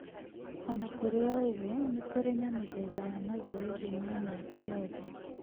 O na kũrĩ ũguo, nĩkũrĩ na mĩthemba ya mazoezi ma mĩaka yothe